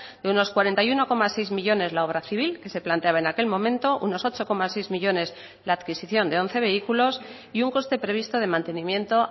de unos cuarenta y uno coma seis millónes la obra civil que se planteaba en aquel momento unos ocho coma seis millónes la adquisición de once vehículos y un coste previsto de mantenimiento